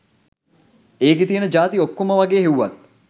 ඒකෙ තියෙන ජාති ඔක්කොම වගේ හෙව්වත්